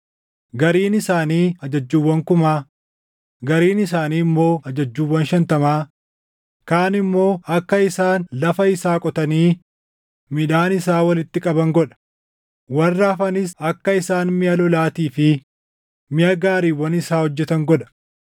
Gariin isaanii ajajjuuwwan kumaa, gariin isaanii immoo ajajjuuwwan shantamaa, kaan immoo akka isaan lafa isaa qotanii midhaan isaa walitti qaban godha; warra hafanis akka isaan miʼa lolaatii fi miʼa gaariiwwan isaa hojjetan godha.